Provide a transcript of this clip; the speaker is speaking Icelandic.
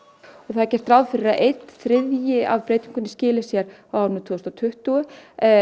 það er gert ráð fyrir að einn þriðji af breytingunni skili sér á árinu tvö þúsund og tuttugu